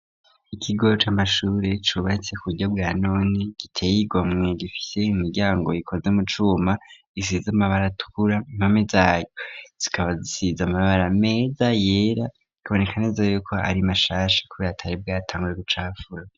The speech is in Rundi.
Ikigo c'amashuri cubatse ku buryo bwanone giteyigamwe, gifise imiryango ikoze mu cuma isiz'amabara tukura, impome zayo zikaba zisiz'amabara meza yera bikaboneka neza ko ari mashasha kubira k'atari bwatangure gucapfura.